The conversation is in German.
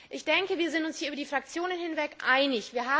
Ich denke, wir sind uns hier über die Fraktionen hinweg einig.